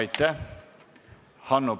Aitäh!